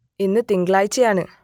ഇന്ന് തിങ്കളാഴ്ചയാണ്